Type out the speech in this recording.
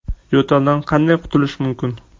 Yo‘taldan qanday qutulish mumkin?